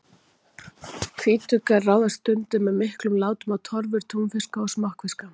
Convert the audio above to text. Hvítuggar ráðast stundum með miklum látum á torfur túnfiska og smokkfiska.